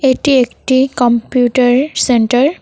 এটি একটি computer centre.